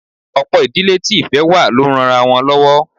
Ọ̀pọ̀ ìdílé tí ìfẹ́ wà ló ń ranra wọn lọ́wọ́